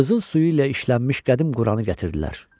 Qızıl suyu ilə işlənmiş qədim Quranı gətirdilər.